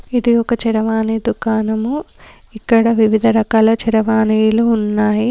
ఇది ఒక చారవాణి దుకాణము. ఇక్కడ వివిధ రకాల చరవాణీలు ఉన్నాయి.